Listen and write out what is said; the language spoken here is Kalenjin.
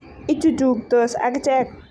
ichuchuktos akichek.